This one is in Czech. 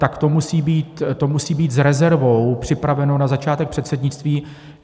Tak to musí být s rezervou připraveno na začátek předsednictví.